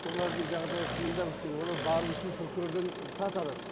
олардың жағдайы қиындау кішкене олар бару үшін прокурордан рұқсат алады